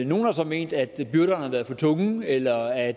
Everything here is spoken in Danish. nogle har så ment at byrderne har været for tunge eller at